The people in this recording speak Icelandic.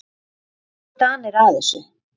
Hvernig fóru Danir að þessu?